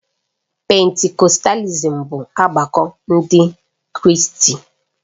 Pentikọstalism bụ ọgbakọ Ndị Kraịst.